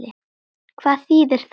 Hvað þýðir það?